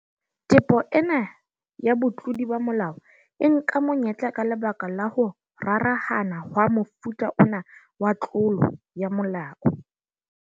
"Tepo ena ya botlodi ba molao e nka monyetla ka lebaka la ho rarahana hwa mofuta ona wa tlolo ya molao."